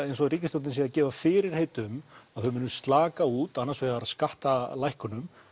eins og ríkisstjórnin sé að gefa fyrirheit um þau muni slaka út annars vegar skattalækkunum